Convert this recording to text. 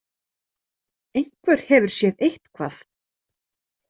Einhver hefur séð eitthvað.